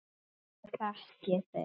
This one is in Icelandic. Ég þekki þig